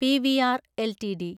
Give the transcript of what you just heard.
PVR LTD